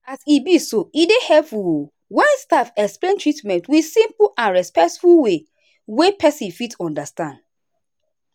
as e be so e dey helpful o when staff explain treatment with simple and respectful way wey person fit understand.